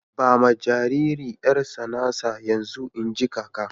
Ba ma jaririn 'yar tsanansa yanzu, in ji kaka.